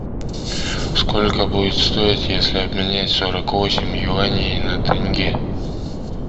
сколько будет стоить если обменять сорок восемь юаней на тенге